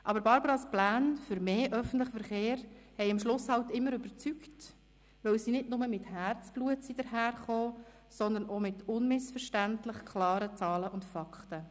Aber Barbaras Pläne für mehr öffentlichen Verkehr überzeugten letztlich immer, weil sie nicht nur mit Herzblut daherkamen, sondern auch mit unmissverständlich klaren Zahlen und Fakten.